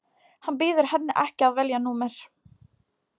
Hann býður henni ekki að velja númer.